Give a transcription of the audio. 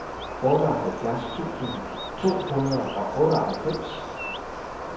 otteoghalvfjerds tusind to hundrede og otteoghalvfems